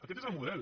aquest és el model